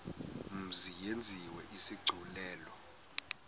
mzi yenziwe isigculelo